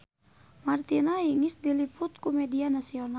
Martina Hingis diliput ku media nasional